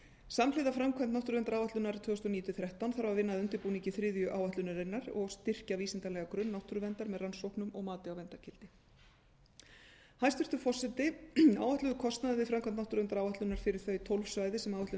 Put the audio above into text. samhliða framkvæmd náttúruverndaráætlunar tvö þúsund og níu til tvö þúsund og þrettán þarf að vinna að undirbúningi þriðju áætlunarinnar og styrkja vísindalegan grunn náttúruverndar með rannsóknum og mati á verndargildi hæstvirtur forseti áætlaður kostnaður við framkvæmd náttúruverndaráætlunar fyrir þau tólf svæði sem áætlunin